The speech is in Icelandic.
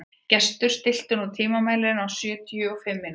Gestur, stilltu tímamælinn á sjötíu og fimm mínútur.